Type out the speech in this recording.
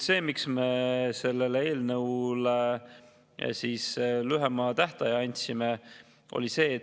Miks me selle eelnõu puhul lühema tähtaja andsime?